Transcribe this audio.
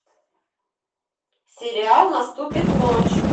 сериал наступит ночь